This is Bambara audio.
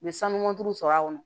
U ye sanubɔ sɔrɔ a kɔnɔ